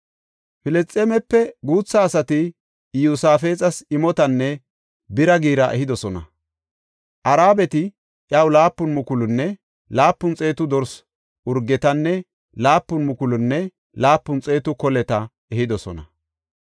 Filisxeemepe guutha asati Iyosaafexas imotanne bira giira ehidosona; Arabati iyaw laapun mukulunne laapun xeetu dorsa urgetanne laapun mukulunne laapun xeetu koleta ehidosona.